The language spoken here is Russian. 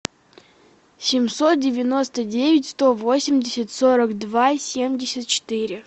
семьсот девяносто девять сто восемьдесят сорок два семьдесят четыре